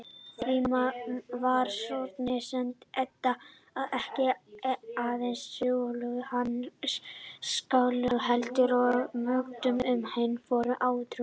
Því var Snorra-Edda ekki aðeins kennslubók handa skáldum, heldur og meginheimild um hinn forna átrúnað.